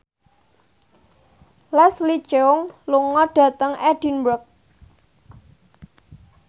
Leslie Cheung lunga dhateng Edinburgh